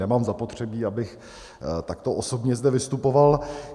Nemám zapotřebí, abych takto osobně zde vystupoval.